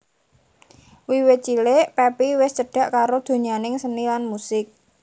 Wiwit cilik Pepi wis cedhak karo donyaning seni lan musik